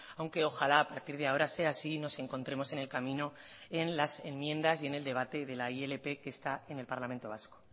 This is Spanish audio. aunque ojalá a partir de ahora sea así y nos encontremos en el camino en las enmiendas y en el debate de la ilp que está en el parlamento vasco